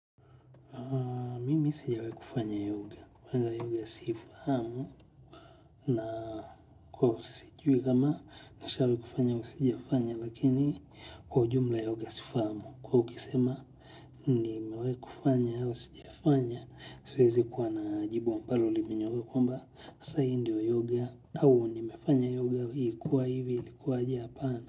Mimi sijawahi kufanya yoga. Kwanza yoga siifahamu. Na kwahivo sijui kama nishawahi kufanya sijafanya lakini kwa ujumla yoga siifahamu. Kwahiyo ukisema nimewahi kufanya usijafanya siwezi kuwa na jibu wa ambalo limenyooka kwamba sasa hii ndio yoga. Au nimefanya yoga ilikuwa hivi ilikuwaje hapana.